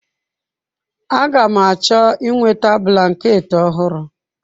Agam achọ inweta blanketị ọhụrụ.